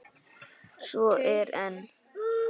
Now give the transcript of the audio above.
Svo er enn.